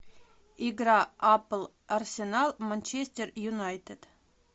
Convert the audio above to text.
игра апл арсенал манчестер юнайтед